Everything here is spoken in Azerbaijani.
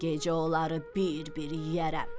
Gecə onları bir-bir yeyərəm.